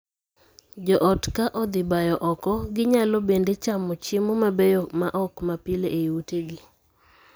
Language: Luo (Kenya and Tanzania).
Joot ka odhi bayo oko, ginyalo bende chamo chiemo mabeyo ma ok ma pile ei utegi.